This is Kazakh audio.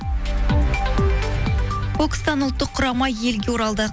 бокстан ұлттық құрама елге оралды